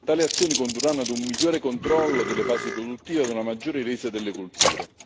Tali azioni condurranno a un migliore controllo delle fasi produttive e a una maggiore resa delle culture.